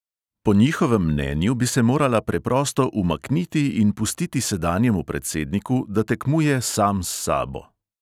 Po njihovem mnenju bi se morala preprosto umakniti in pustiti sedanjemu predsedniku, da tekmuje sam s sabo.